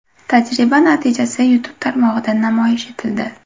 Tajriba natijasi YouTube tarmog‘ida namoyish etildi.